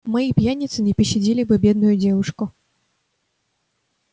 мои пьяницы не пощадили бы бедную девушку